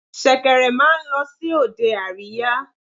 Ṣẹ̀kẹ̀rẹ̀ máa ń lọ sí òde àríyá.